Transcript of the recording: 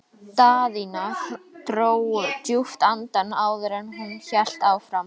Daðína dró djúpt andann áður en hún hélt áfram.